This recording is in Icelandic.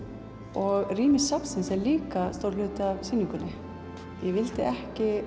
og rými safnsins er líka stór hluti af sýningunni ég vildi ekki